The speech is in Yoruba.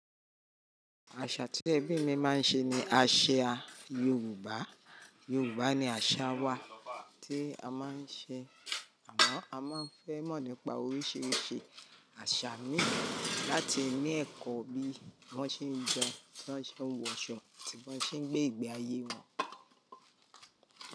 Àṣà tí ẹbí mi máa ń ṣe ni àṣà Yorùbá. Yorùbá ni àṣà wa tí a máa ń ṣe àmọ́ a máa ń fẹ́ mọ̀ nípa oríṣiríṣi àṣà mi láti ní ẹ̀kọ́ bí wọ́n ṣe ń jẹun, bí wọ́n ṣe ń wọṣọ, tí wọ́n ṣe ń gbé ìgbé ayé wọn.